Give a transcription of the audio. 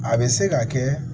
A bɛ se ka kɛ